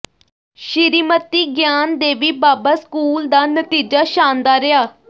Shrimati Gyan Devi Baba school ਦਾ ਨਤੀਜਾ ਸ਼ਾਨਦਾਰ ਰਿਹਾ